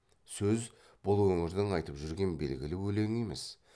сөз бұл өңірдің айтып жүрген белгілі өлеңі емес